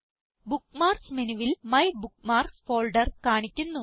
bookmarks മെനുവിൽ my bookmarks folder കാണിക്കുന്നു